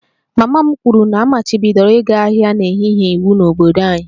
Mama m kwuru na a machibidoro ịga ahịa n'ehihie iwu n'obodo anyị